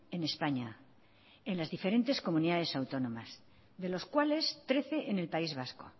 en españa en las diferentes comunidades autónomas de los cuales trece en el país vasco